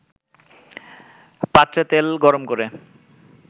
পাত্রে তেল গরমকরে